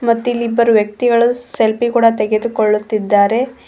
ಮತ್ತಿಲ್ಲಿ ಇಬ್ಬರು ವ್ಯಕ್ತಿಗಳು ಸೆಲ್ಫಿ ಕೂಡ ತೆಗೆದುಕೊಳ್ಳುತ್ತಿದ್ದಾರೆ.